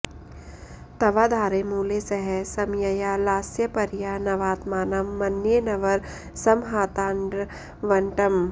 तवाधारे मूले सह समयया लास्यपरया नवात्मानं मन्ये नवरसमहाताण्डवनटम्